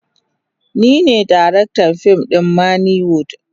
Ni ne darektan fim a manny wood.